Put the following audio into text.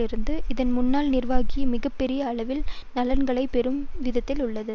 இருந்து இதன் முன்னாள் நிர்வாகிகள் மிக பெரிய அளவில் நலன்களை பெறும் விதத்தில் உள்ளது